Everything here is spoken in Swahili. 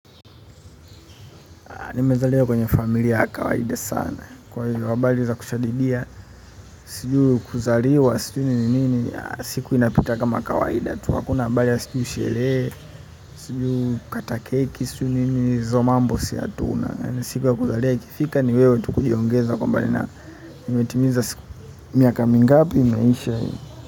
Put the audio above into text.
Nimezaliwa kwenye familia ya kawaida sana. Kwa hilo habari za kushadidia. Sijui kuzaliwa siku ni nini siku inapita kama kawaida. Kwetu hakuna habari sjui sherehe sjui kukata keki hizo mambo sisi hatuna siku ya kuzaliwa ikifika niwewe tukujiongeza kwa mbali na imetimiza siku miaka mingapi imeisha.